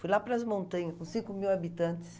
Fui lá para as montanhas, com cinco mil habitantes.